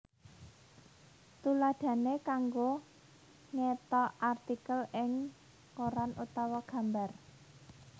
Tuladhané kanggo ngethok artikel ing koran utawa gambar